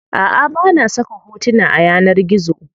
Aʼa bana saka hotona a yanar gizo.